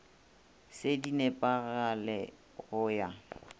se di nepagale go ya